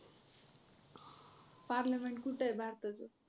parliament कुठं आहे भारताचं?